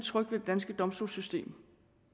tryg ved det danske domstolssystem